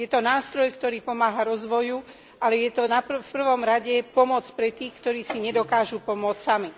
Je to nástroj, ktorý pomáha rozvoju, ale je to v prvom rade pomoc pre tých, ktorí si nedokážu pomôcť sami.